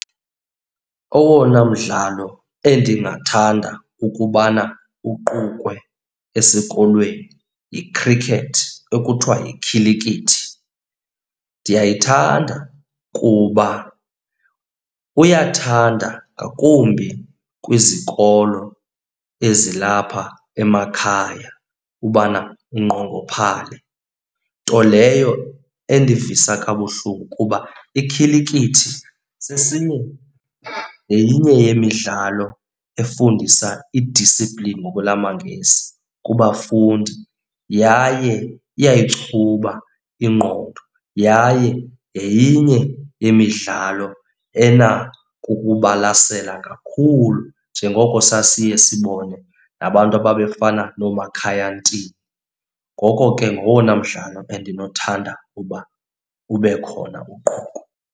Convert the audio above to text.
Owona mdlalo endingathanda ukubana uqukwe esikolweni yi-cricket, ekuthiwa yikhilikithi. Ndiyayithanda kuba kuyathanda ngakumbi kwizikolo ezilapha emakhaya ubana inqongophale, nto leyo endivisa kabuhlungu kuba ikhilikithi sesinye yenye yemidlalo efundisa i-discipline ngokwelamangesi kubafundi yaye iyayichuba ingqondo. Yaye yenye yemidlalo enako ukubalasela kakhulu njengoko sasiye sibone nabantu ababefana nooMakhaya Ntini. Ngoko ke ngowona mdlalo endinothanda uba ube khona, uqukwe.